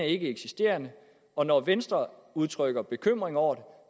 ikkeeksisterende og når venstre udtrykker bekymring over